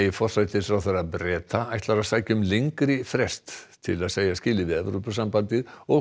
forsætisráðherra Breta ætlar að sækja um lengri frest til að segja skilið við Evrópusambandið og